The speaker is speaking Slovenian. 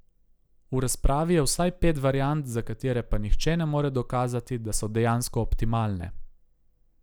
V razpravi je vsaj pet variant, za katere pa nihče ne more dokazati, da so dejansko optimalne.